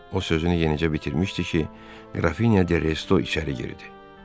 O sözünü yenicə bitirmişdi ki, Qrafinya de Resto içəri girdi.